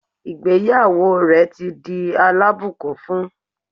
Ìgbéyàwó rẹ̀ ti di alábùkún fún